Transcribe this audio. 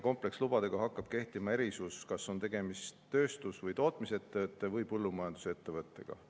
Komplekslubadega hakkab kehtima erisus, kas on tegemist tööstus- või tootmisettevõtte või põllumajandusettevõttega.